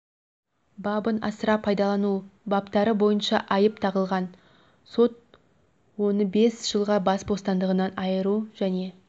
бабын асыра пайдалану баптары бойынша айып тағылған сот оны бес жылға бас бостандығынан айыру және